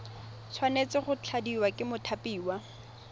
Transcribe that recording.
tshwanetse go tladiwa ke mothapiwa